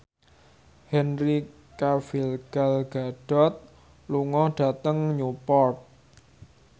Henry Cavill Gal Gadot lunga dhateng Newport